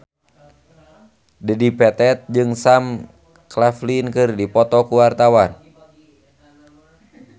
Dedi Petet jeung Sam Claflin keur dipoto ku wartawan